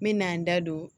N me n'an da don